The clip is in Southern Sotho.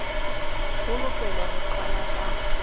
ho lokelwang ho qalwa ka